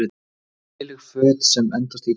Léleg föt sem endast illa